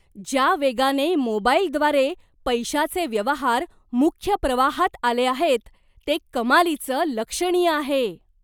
ज्या वेगाने मोबाईलद्वारे पैशाचे व्यवहार मुख्य प्रवाहात आले आहेत, ते कमालीचं लक्षणीय आहे.